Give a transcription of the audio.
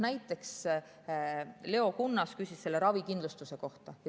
Näiteks Leo Kunnas küsis ravikindlustuse kohta.